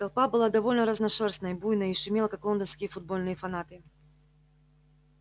толпа была довольно разношёрстной буйной и шумела как лондонские футбольные фанаты